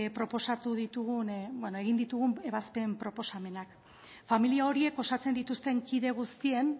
proposatu ditugun ebazpen proposamenak familia horiek osatzen dituzten kide guztien